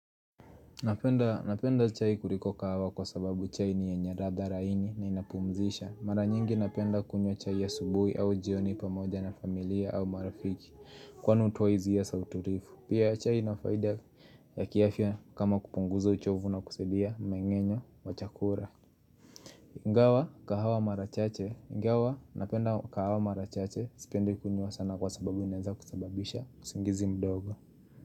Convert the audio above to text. Napenda chai kuliko kahawa kwa sababu chai ni yenye ladha laini na inapumzisha mara nyingi napenda kunywa chai ya asubuhi au jioni pamoja na familia au marafiki Kwani hutoa hisia ya sauti refu pia chai inafaida ya kiafya kama kupunguza uchovu na kusadia meng'enyo wa chakula Gawa kahawa mara chache gawa napenda kahawa marachache sipendi kunywa sana kwa sababu inanza kusababisha usingizi mdogo.